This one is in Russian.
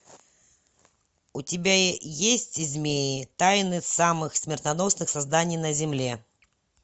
у тебя есть змеи тайны самых смертоносных созданий на земле